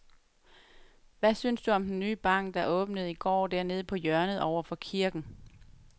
Hvad synes du om den nye bank, der åbnede i går dernede på hjørnet over for kirken?